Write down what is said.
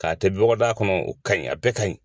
K'a kɛ bɔgɔdaga kɔnɔ o ka ɲi a bɛɛ ka ɲi.